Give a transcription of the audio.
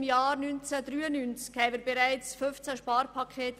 Seit dem Jahr 1993 hatten wir im Kanton Bern bereits 15 Sparpakete.